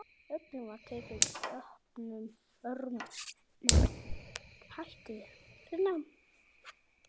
Öllum var tekið opnum örmum.